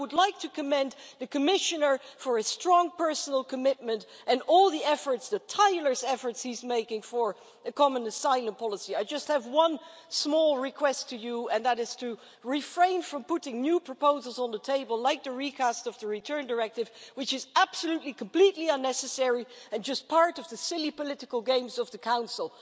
I would like to commend the Commissioner for his strong personal commitment and all the efforts, the tireless efforts, he is making for a common asylum policy. I just have one small request to you, and that is true refrain from putting new proposals on the table, like the recast of the Return Directive, which is absolutely, completely unnecessary and just part of the silly political games of the Council.